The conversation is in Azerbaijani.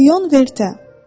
Lion Vertə.